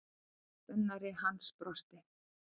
Velunnari hans brosti.